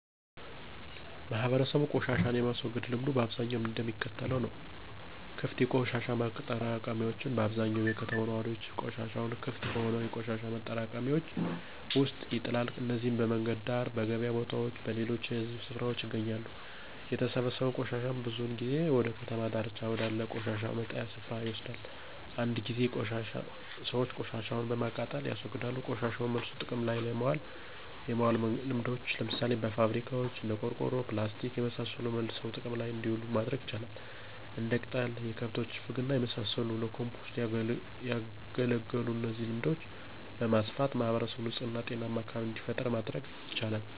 ማህበረሰቡ ቆሻሻን የማስወገድ ልምዱ በአብዛኛው እንደሚከተለው ነው -* ክፍት የቆሻሻ ማጠራቀሚያዎች በአብዛኛው የከተማው ነዋሪዎች ቆሻሻቸውን ክፍት በሆኑ የቆሻሻ ማጠራቀሚያዎች ውስጥ ይጥላሉ። እነዚህም በመንገድ ዳር፣ በገበያ ቦታዎች እና በሌሎች የህዝብ ስፍራዎች ይገኛሉ። የተሰበሰበው ቆሻሻም ብዙውን ጊዜ ወደ ከተማ ዳርቻ ወዳለ የቆሻሻ መጣያ ስፍራ ይወሰዳል። አንዳንድ ጊዜ ሰዎች ቆሻሻቸውን በማቃጠል ያስወግዳሉ *ቆሻሻን መልሶ ጥቅም ላይ የማዋል ልምዶች፦ ለምሳሌ በፋብሪካዋች እንደ ቆርቆሮ፣ ፕላስቲክና የመሳሰሉት መልሰው ጥቅም ላይ እንዲውሉ ማድረግ ይቻላል። *እንደ ቅጠል፣ የከብቶች ፍግና የመሳሰሉት ለኮምፖስት ያገለግላሉ እነዚህን ልምዶች በማስፋፋት ማህበረሰቡን ንጹህ እና ጤናማ አካቢቢን እንዲፈጥሩ ማድረግ ይቻላል።